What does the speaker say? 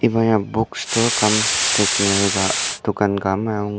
iba ya book store cum stationary dokan ka amai angur.